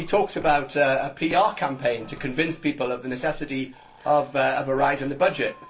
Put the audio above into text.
He talks about a PR campaign to convince people of the necessity of a rise in the budget.